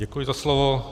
Děkuji za slovo.